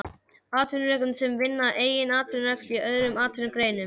Atvinnurekendum sem vinna að eigin atvinnurekstri í öðrum atvinnugreinum.